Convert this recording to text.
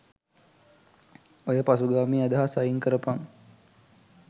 ඔය පසුගාමී අදහස් අයින් කරපන්